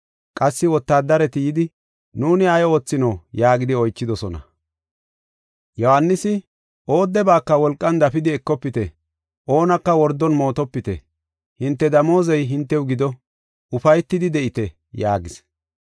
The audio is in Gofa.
Qassi wotaadareti yidi, “Nuuni ay oothinoo” yaagidi oychidosona. Yohaanisi, “Oodebaaka wolqan dafidi ekofite, oonaka wordon mootopite, hinte damoozey hintew gido; ufaytidi de7ite” yaagis.